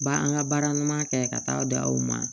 Ba an ka baara ɲuman kɛ ka taa di aw ma